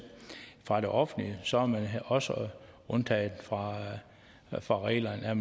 for det offentlige så er man også undtaget fra fra reglerne er